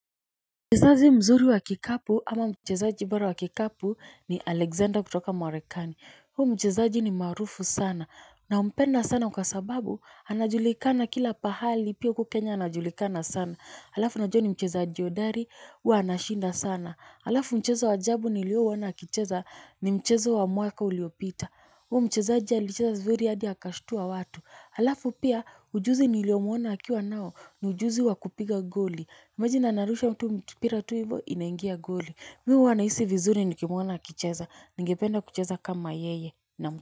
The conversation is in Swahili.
Mchezaji mzuri wa kikapu ama mchezaji bora wa kikapu ni Alexander kutoka marekani. Huu mchezaji ni maarufu sana nampenda sana kwa sababu anajulikana kila pahali pia huku kenya anajulikana sana. Alafu najua ni mchezaji hodari huwa anashinda sana. Alafu mchezo wa ajabu nilioona akicheza ni mchezo wa mwaka uliopita. Huyu mchezaji alicheza vizuri hadi akashtua watu. Alafu pia ujuzi niliomuona akiwa nao ni ujuzi wa kupiga goli. Imagine anarusha tu mpira tu hivyo inaingia goli Mi huwa nahisi vizuri nikimwona akicheza. Ningependa kucheza kama yeye.